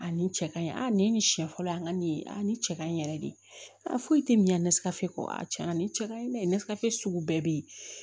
A ni cɛ kaɲi a ni siɲɛ fɔlɔ ye an ka nin ye a ni cɛ kaɲi yɛrɛ de a foyi tɛ min na nesaafe ko a tiɲɛna nin cɛ kaɲi ne ye ne sirafe sugu bɛɛ bɛ yen